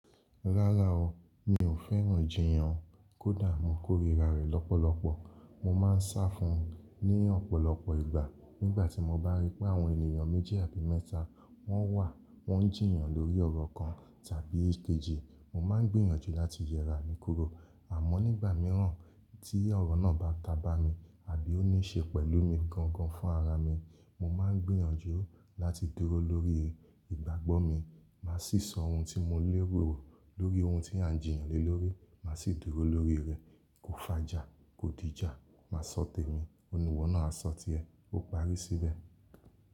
Rárá o, mi ò fẹ́ràn jìyàn kódà mo kórira rẹ̀ lọ́pọ̀lọpọ̀. Mo máa ń sá fún ní ọ̀pọ̀lọpọ̀ ìgbà. Nígbà tí mo bá rí pé àwọn ènìyàn méjì àbí mẹ́ta wọ́n wà, wọ́n ń jìyàn lórí ọ̀rọ̀ kan tàbí èkejì, mo máa ń gbìyànjú láti yẹra níkòró. Àmọ́ nígbà míràn tí ọ̀rọ̀ náà bá ta bá mi àbí ó ní ṣe pẹ̀lú mi gangan fún ara mi, mo máa ń gbìyànjú láti dúró lórí ìgbàgbọ́ mi. Máa sì sọ ohun tí mo léèrò lórí ohun tí à ń jìyàn lé lórí. Màá sì dúró lórí rẹ̀. Kò fàjà, kò díjà. Máa sọ tèmi, oníwọ̀ náà a sọ tìẹ. Ó parí síbẹ̀